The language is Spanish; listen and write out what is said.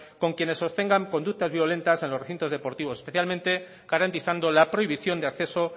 con quienes sostengan conductas violentas en los recintos deportivos especialmente garantizando la prohibición de acceso